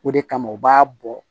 O de kama u b'a bɔ